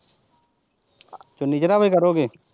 ਚੁੰਨੀ ਚੜਾ ਕੇ ਕਰੋਗੇ।